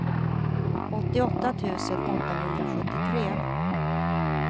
åttioåtta tusen åttahundrasjuttiotre